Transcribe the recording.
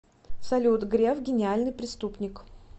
салют греф гениальный преступник